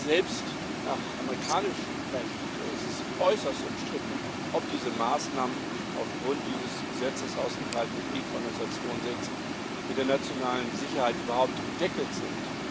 Selbst nach amerikanischem Recht ist es äußerst umstritten, ob diese Maßnahmen durch dieses Gesetzes aus dem Kalten Krieg von 1962 mit der nationalen Sicherheit überhaupt abgedeckt sind.